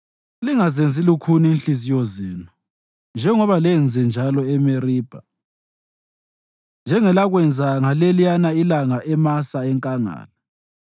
lingazenzi lukhuni inhliziyo zenu njengoba lenzenjalo eMeribha, njengelakwenza ngaleliyana ilanga eMasa enkangala,